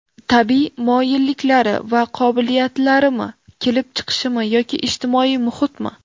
Tabiiy moyilliklari va qobiliyatlarimi, kelib chiqishimi yoki ijtimoiy muhitmi?